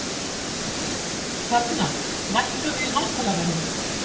Hrafna, lækkaðu í hátalaranum.